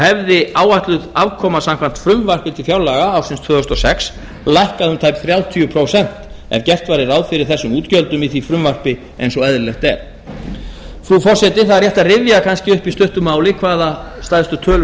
hefði áætluð afkoma samkvæmt frumvarpi til fjárlaga ársins tvö þúsund og sex lækkað um tæp þrjátíu prósent ef gert væri ráð fyrir þessum útgjöldum í því frumvarpi eins og eðlilegt er frú forseti það er rétt að rifja kannski upp í stuttu máli hvaða stærstu tölur